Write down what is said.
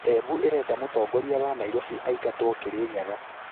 Embũ ĩrenda mũtongoria wa Nairovi aingatwo Kĩrĩnyaga